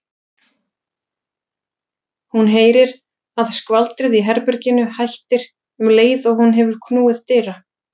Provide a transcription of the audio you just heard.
Hún heyrir að skvaldrið í herberginu hættir um leið og hún hefur knúið dyra.